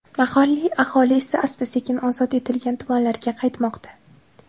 Mahalliy aholi esa asta-sekin ozod etilgan tumanlarga qaytmoqda.